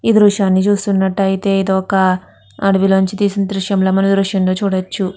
ఈ దృశ్యం ని చూసినట్టు అయతె ఇది ఒక అడివల తెసినట్టు దృశ్యం ల మనం చూడవచు.